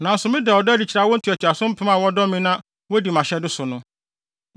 nanso meda ɔdɔ adi kyerɛ awo ntoatoaso mpem a wɔdɔ me na wodi mʼahyɛde so no.